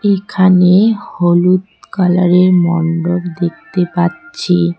এখানে হলুদ কালারের মন্ডপ দেখতে পাচ্ছি।